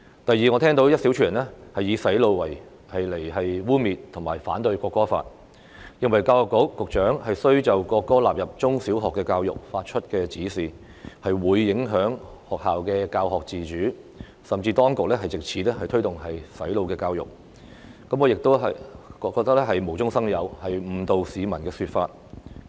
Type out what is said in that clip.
第二，我聽到一小撮人以"洗腦"來污衊和反對《條例草案》，認為教育局局長須就國歌納入中小學教育發出指示，是影響學校的教育自主，甚至指當局藉此推動"洗腦教育"，我亦認為這是無中生有，是誤導市民的說法。